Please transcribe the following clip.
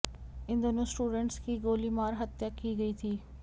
इन दोनों स्टूडेंटस की गोली मार हत्या की गई थी